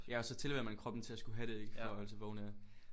Ja og så tilhører man kroppen til at skulle have det ik for at holde sig vågen ja